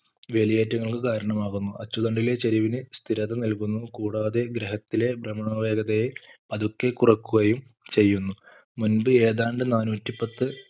വേലിയേറ്റങ്ങൾക്കു കാരണമാകുന്നു അച്ചുതണ്ടിലെ ചരിവിന് സ്ഥിരത നൽകുന്നു കൂടാതെ ഗ്രഹത്തിലെ ഭ്രമണ വേഗതയെ പതുക്കെ കുറക്കുകയും ചെയ്യുന്നു മുൻപ് ഏതാണ്ട് നാനൂറ്റി പത്ത്